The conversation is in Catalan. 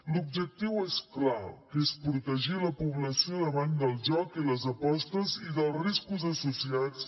l’objectiu és clar que és protegir la població davant del joc i les apostes i dels riscos associats